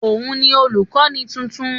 Òun ni olùkọ́ni tuntun